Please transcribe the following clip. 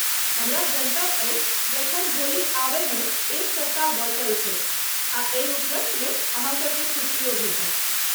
हमरा जनतब अछि जे अखन होली आबयमे एक सप्ताह बचल छैक आ एहि उपलक्ष्यमे अहाँ सभके छुट्टियो भेटत।